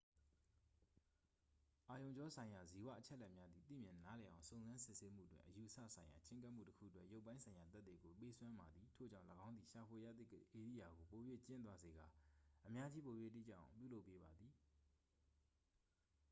အာရုံကြောဆိုင်ရာဇီဝအချက်အလက်များသည် သိမြင်နားလည်အောင်စုံစမ်းစစ်ဆေးမှုတွင် အယူအဆဆိုင်ရာချဉ်းကပ်မှုတစ်ခုအတွက် ရုပ်ပိုင်းဆိုင်ရာသက်သေကို ပေးစွမ်းပါသည် ထို့ကြောင့် ၎င်းသည် ရှာဖွေရသည့်ဧရိယာကို ပို၍ကျဉ်းသွားစေကာ အများကြီးပို၍တိကျအောင် ပြုလုပ်ပေးပါသည်